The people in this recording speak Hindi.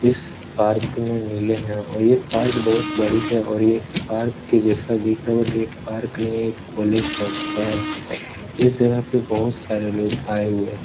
इस पार्क में मिले हैं और ये पार्क बोहोत बड़ी है और ये पार्क जैसा दिख रहा है बट ये पार्क नही है ये कॉलेज टाइप का है। इस जगह पे बहोत सारे लोग आये हुए हैं।